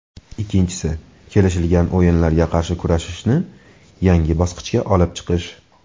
Ikkinchisi, kelishilgan o‘yinlarga qarshi kurashishni yangi bosqichga olib chiqish.